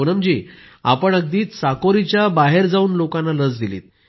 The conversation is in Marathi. पूनम जी आपण अगदी चाकोरीच्या बाहेर जाऊन लोकांना लस दिली